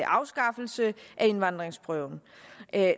afskaffelse af indvandringsprøven